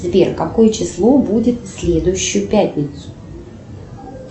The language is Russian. сбер какое число будет в следующую пятницу